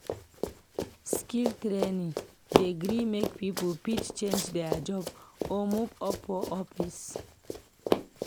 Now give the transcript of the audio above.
Skill training dey gree make people fit change their job or move up for office.